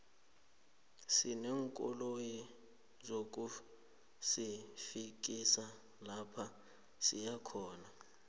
sineenkoloyi zokusifikisa lapha siyakhona